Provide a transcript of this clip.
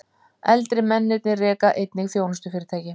Eldri mennirnir reka eigin þjónustufyrirtæki